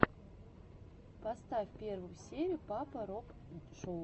поставь первую серию папа роб шоу